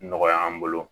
Nɔgɔya an bolo